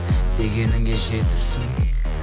дегеніңе жетіпсің